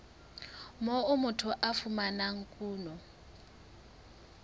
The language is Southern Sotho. moo motho a fumanang kuno